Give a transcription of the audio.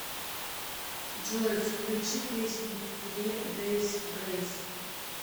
джой включи песни фри дейс грейс